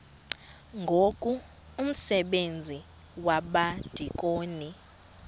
ngoku umsebenzi wabadikoni